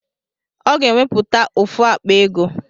Ọ ga-enwepụta ofu akpa ego